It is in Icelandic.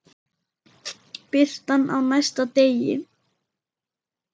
Birtan á næsta degi.